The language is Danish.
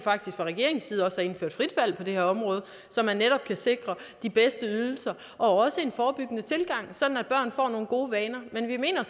fra regeringens side faktisk også har indført frit valg på det her område så man netop kan sikre de bedste ydelser og også en forebyggende tilgang sådan at børn får nogle gode vaner men vi mener